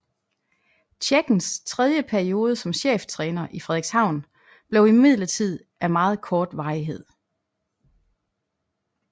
Tjekkens tredje periode som cheftræner i Frederikshavn blev imidlertid af meget kort varighed